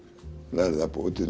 lærði að búa til